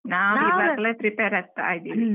ನಾನ್ ಈಗಾಗ್ಲೇ prepare ಆಗ್ತಾ ಇದ್ದೀನಿ.